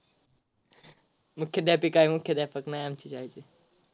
मुख्याध्यापिका आहे मुख्याध्यापक नाही आमचे या वेळचे.